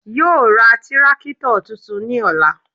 Yoo ra tírákítọ̀ tuntun ní ọ̀la